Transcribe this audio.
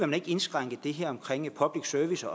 man ikke indskrænke det her omkring public service